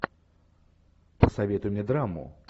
посоветуй мне драму